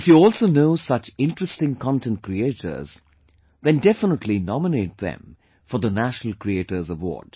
If you also know such interesting content creators, then definitely nominate them for the National Creators Award